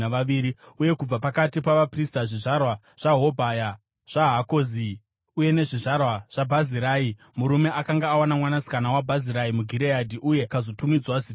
Uye kubva pakati pavaprista: zvizvarwa zvaHobhaya, zvaHakozi uye nezvizvarwa zvaBhazirai (murume akanga awana mwanasikana waBhazirai muGireadhi uye akazotumidzwa zita iroro).